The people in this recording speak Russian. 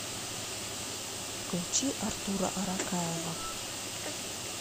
включи артура аракаева